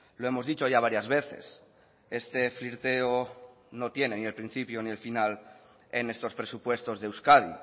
lo hemos dicho ya varias veces este flirteo no tiene ni el principio ni el final en estos presupuestos de euskadi